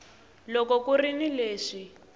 loko ku ri ni leswi